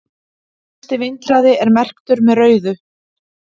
mesti vindhraði er merktur með rauðu